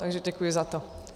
Takže děkuji za to.